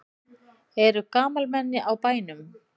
Eru gamalmenni á bænum?